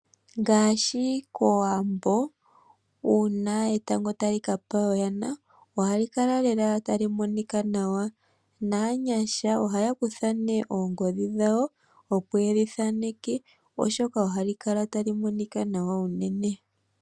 Ngaashi kOwambo uuna etango tali ka pa oyana ohali kala lela tali monika nawa. Naanyasha ohaya kutha nee oongodhi dhawo, opo ye li thaneke, oshoka ohali kala tali monika nawa unene.